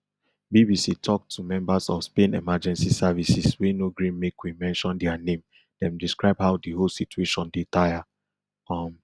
bbc tok to members of spain emergency services wey no gree make we mention dia name dem describe how di whole situation dey tire um